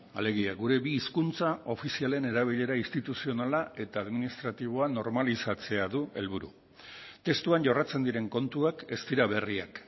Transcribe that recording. alegia gure bi hizkuntza ofizialen erabilera instituzionala eta administratiboa normalizatzea du helburu testuan jorratzen diren kontuak ez dira berriak